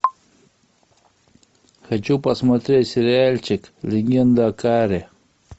хочу посмотреть сериальчик легенда о корре